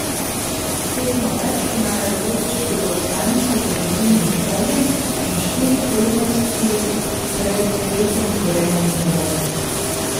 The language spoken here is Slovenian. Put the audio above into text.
S tekmo več imajo dve točki zaostanka za vodilnim Celjem in štiri prednosti pred tretjim Gorenjem Velenjem.